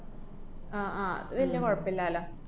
അഹ് ആഹ് അത് വല്യ കൊഴപ്പില്ലാല്ലാ.